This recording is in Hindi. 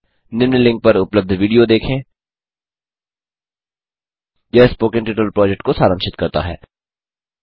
निम्न लिंक पर उपलब्ध विडियो देखें httpspoken tutorialorgWhat इस आ स्पोकेन ट्यूटोरियल यह स्पोकन ट्यटोरियल प्रोजेक्ट को सारांशित करता है